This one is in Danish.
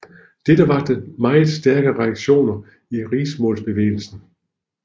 Dette vakte meget stærke reaktioner i riksmålsbevægelsen